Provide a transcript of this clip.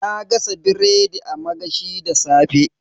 Na gasa biredi a magashi da safe.